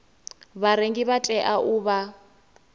vharengi vha tea u vha